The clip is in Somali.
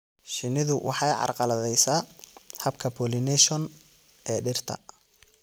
Shinnidu waxay carqaladaysaa habka pollination ee dhirta.